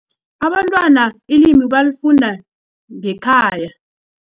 Abantwana ilimi balifunda ngekhaya.